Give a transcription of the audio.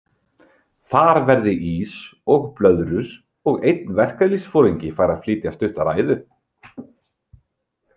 Þar verði ís og blöðrur og einn verkalýðsforingi fær að flytja stutta ræðu.